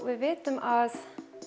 við vitum að